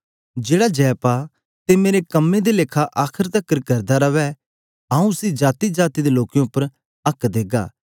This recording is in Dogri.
जेहड़ा जय पा ते मेरे कम्में दे लेखा आखर तकर करदा रवै आऊँ उसी जातीजाती दे लोकें उपर आक्क देगा